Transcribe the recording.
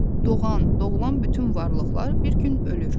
Doğan, doğulan bütün varlıqlar bir gün ölür.